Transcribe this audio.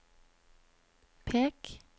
pek